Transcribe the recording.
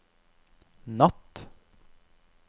natt